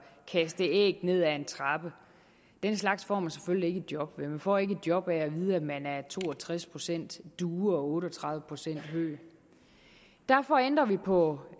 kaste æg ned ad en trappe den slags får man selvfølgelig ikke et job af man får ikke et job af at vide at man er to og tres procent due og otte og tredive procent høg derfor ændrer vi på